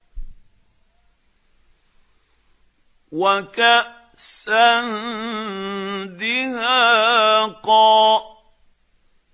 وَكَأْسًا دِهَاقًا